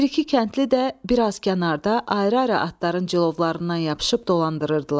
Bir-iki kəndli də bir az kənarda ayrı-ayrı atların cilovlarından yapışıb dolandırırdılar.